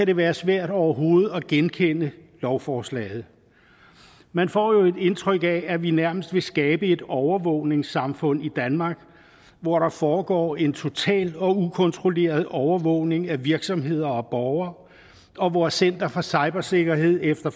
det være svært overhovedet at genkende lovforslaget man får jo et indtryk af at vi nærmest vil skabe et overvågningssamfund i danmark hvor der foregår en total og ukontrolleret overvågning af virksomheder og borgere og hvor center for cybersikkerhed efter